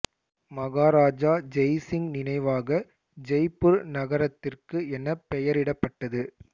மகாராஜா ஜெய் சிங் நினைவாக ஜெய்ப்பூர் நகரத்திற்கு என பெயரிடப்பட்டது